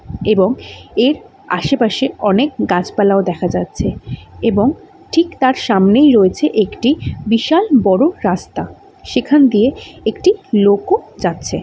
এবং এর আশেপাশে অনেক গাছপালাও দেখা যাচ্ছে এবং ঠিক তার সামনেই রয়েছে একটি বিশাল বড় রাস্তা সেখান দিয়ে একটি লোক ও যাচ্ছে।